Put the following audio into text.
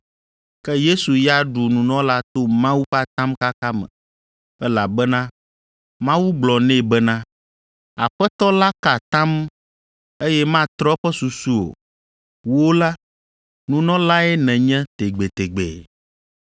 ke Yesu ya ɖu nunɔla to Mawu ƒe atamkaka me, elabena Mawu gblɔ nɛ bena, “Aƒetɔ la ka atam, eye matrɔ eƒe susu o, ‘Wò la, nunɔlae nènye tegbetegbe.’ ”